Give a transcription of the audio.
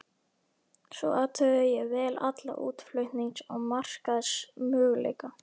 Svo athugaði ég vel alla útflutnings- og markaðsmöguleika.